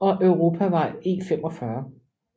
og Europavej E45